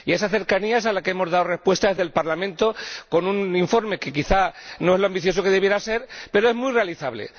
A esa cercanía es a la que hemos dado respuesta desde el Parlamento con un informe que quizá no es todo lo ambicioso que debería ser, pero es muy realizable.